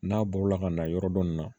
N'a bɔla ka na yɔrɔ dɔ nin na